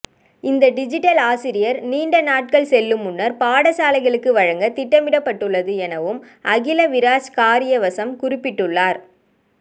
இந்த டிஜிட்டல் ஆசிரியர் நீண்டநாட்கள் செல்லும் முன்னர் பாடசாலைகளுக்கு வழங்க திட்டமிடப்பட்டுள்ளது எனவும் அகில விராஜ் காரியவசம் குறிப்பிட்டுள்ளார்